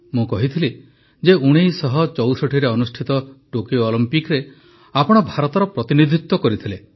ମୁଁ କହିଥିଲି ଯେ ୧୯୬୪ରେ ଅନୁଷ୍ଠିତ ଟୋକିଓ ଅଲିମ୍ପିକରେ ଆପଣ ଭାରତର ପ୍ରତିନିଧିତ୍ୱ କରିଥିଲେ